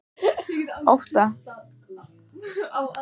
Otta, hvað er á dagatalinu í dag?